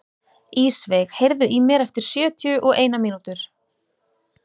Ísveig, heyrðu í mér eftir sjötíu og eina mínútur.